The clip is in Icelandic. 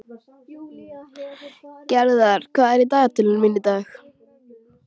Gerðar, hvað er í dagatalinu mínu í dag?